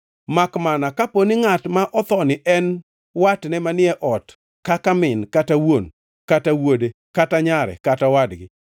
makmana kaponi ngʼat ma othoni en watne manie ot kaka min kata wuon kata wuode kata nyare kata owadgi,